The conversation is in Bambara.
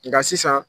Nka sisan